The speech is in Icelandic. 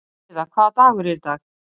Gyða, hvaða dagur er í dag?